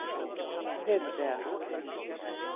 Petrea